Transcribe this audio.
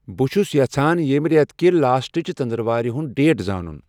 بہٕ چُھس یژھان یمِہ ریتکِہ لاسٹٔچ ژندر وارِ ہُند ڈیٹ زانُن ؟